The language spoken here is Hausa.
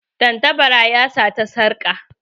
Tantabara ya sata sarƙa.